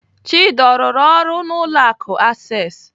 Chidi ọ rụrụ ọrụ n'ụlọ akụ Access?